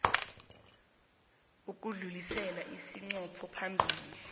ukudlulisela isiqunto phambili